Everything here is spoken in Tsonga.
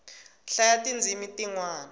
hlayaa ti ndzimi ti nwana